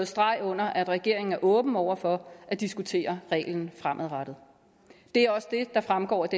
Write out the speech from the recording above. streg under at regeringen er åben over for at diskutere reglen fremadrettet det er også det der fremgår af